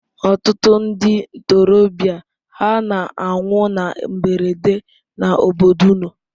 Ọtụtụ ndị ntorobịa hà na-anwụ na mberede n'obodo unu?